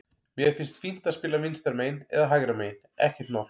Mér finnst fínt að spila vinstra megin eða hægra megin, ekkert mál.